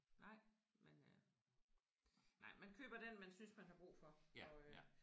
Nej men øh. Nej man køber den man synes man har brug for og øh